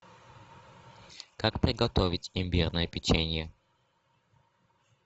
как приготовить имбирное печенье